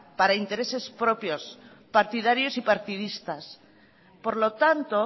para intereses propios partidarios y partidistas por lo tanto